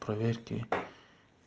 проверки